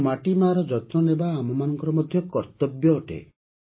ତେଣୁ ମାଟି ମାଆର ଯତ୍ନ ନେବା ଆମମାନଙ୍କର ମଧ୍ୟ କର୍ତ୍ତବ୍ୟ ଅଟେ